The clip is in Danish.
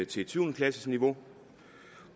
til et syvende klasseniveau